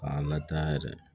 K'a lataa yɛrɛ